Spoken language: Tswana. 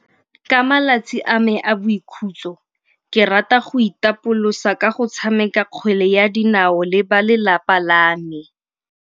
Ka malatsi a me a boikhutso ke rata go itapolosa ka go tshameka kgwele ya dinao le ba lelapa la me.